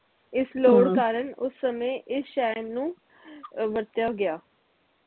ਇਸ ਲੋੜ ਕਾਰਣ ਉਸ ਸਮੇ ਇਸ ਸ਼ਹਿਰ ਨੂੰ ਅਹ ਵਰਤਿਆ ਗਿਆ